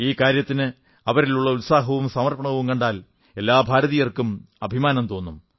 ഈ കാര്യത്തിന് അവരിലുള്ള ഉത്സാഹവും സമർപ്പണവും കണ്ടാൽ എല്ലാ ഭാരതീയർക്കും അഭിമാനം തോന്നും